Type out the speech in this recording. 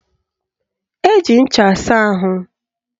Eji ncha asa ahụ